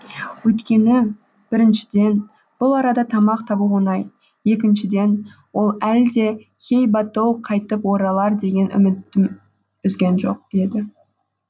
өйткені біріншіден бұл арада тамақ табу оңай екіншіден ол әлі де хей ба тоу қайтып оралар деген үмітін үзген жоқ еді